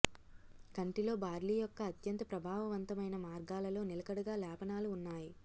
కంటిలో బార్లీ యొక్క అత్యంత ప్రభావవంతమైన మార్గాలలో నిలకడగా లేపనాలు ఉన్నాయి